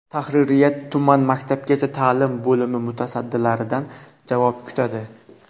Tahririyat tuman maktabgacha ta’lim bo‘limi mutasaddilaridan javob kutadi.